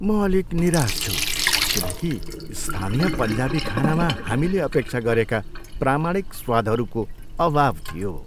म अलिक निराश छु किन कि स्थानीय पन्जाबी खानामा हामीले अपेक्षा गरेका प्रामाणिक स्वादहरूको अभाव थियो।